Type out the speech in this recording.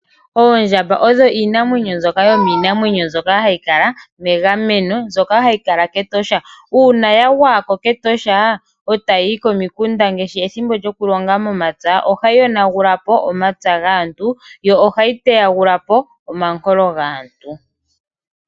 Oondjamba odho iinamwenyo mbyoka yomiinamwenyo mbyoka hayi kala megameno, mbyoka hayi kala kEtosha. Uuna ya gwaya ko kEtosha etayi yi komikunda ngaashi ethimbo lyokulonga momapya, ohayi yonagula po omapya gaantu yo ohayi teyagula po omankolo gaantu.